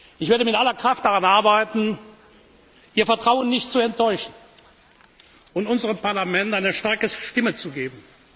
Ich werde mit aller Kraft daran arbeiten, Ihr Vertrauen nicht zu enttäuschen und unserem Parlament eine starke Stimme zu geben!